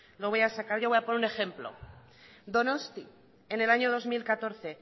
lo voy a sacar yo voy a poner un ejemplo donostia en el año dos mil catorce